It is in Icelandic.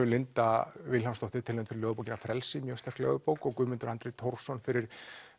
Linda Vilhjálmsdóttir tilnefnd fyrir ljóðabókina frelsi mjög sterk ljóðabók og Guðmundur Andri Thorsson fyrir